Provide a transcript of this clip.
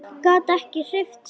Gat ekki hreyft sig.